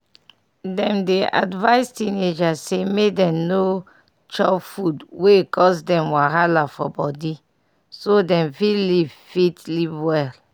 dem dey advise teenagers say make dem no chop food wey cause dem wahala for body so dem fit live fit live well.